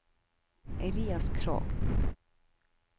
Elias Krogh